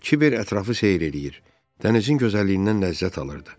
Kiber ətrafı seyr eləyir, dənizin gözəlliyindən ləzzət alırdı.